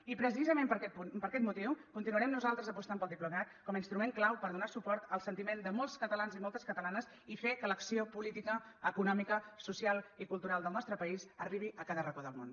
i precisament per aquest motiu continuarem nosaltres apostant pel diplocat com a instrument clau per donar suport al sentiment de molts catalans i moltes catalanes i fer que l’acció política econòmica social i cultural del nostre país arribi a cada racó del món